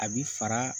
A bi fara